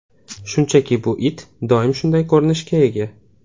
Shunchaki bu it doim shunday ko‘rinishga ega.